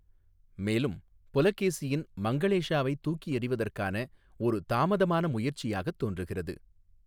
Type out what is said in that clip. மேலும், புலகேசியின் மங்களேஷாவை தூக்கி எறிவதற்கான ஒரு தாமதமான முயற்சியாக தோன்றுகிறது.